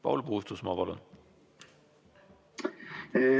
Paul Puustusmaa, palun!